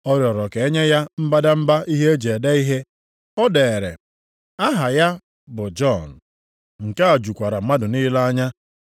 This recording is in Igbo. Ọ rịọrọ ka e nye ya mbadamba ihe e ji ede ihe, o deere “Aha ya bụ Jọn.” Nke a jukwara mmadụ niile anya.